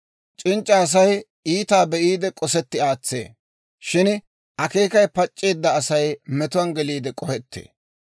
C'inc'c'a Asay iitaa be'iide, k'osetti aatsee; shin akeekay pac'c'eedda Asay metuwaan geliide k'ohettee.